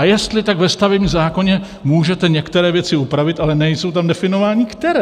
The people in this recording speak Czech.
A jestli, tak ve stavebním zákoně můžete některé věci upravit, ale nejsou tam definovány, které.